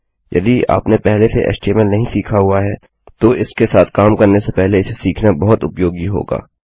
यदि आपने पहले से एचटीएमएल नहीं सीखा हुआ है तो इसके साथ काम करने से पहले इसे सीखना बहुत उपयोगी होगा